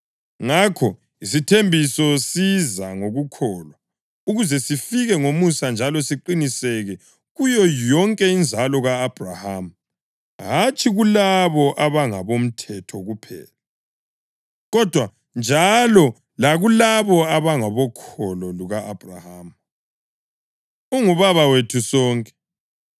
Ngakho, isithembiso siza ngokukholwa, ukuze sifike ngomusa njalo siqiniseke kuyo yonke inzalo ka-Abhrahama, hatshi kulabo abangabomthetho kuphela, kodwa njalo lakulabo abangabokholo luka-Abhrahama. Ungubaba wethu sonke.